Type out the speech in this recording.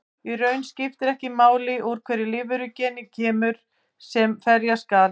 Í raun skiptir ekki máli úr hvaða lífveru genið kemur sem ferja skal.